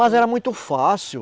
Mas era muito fácil.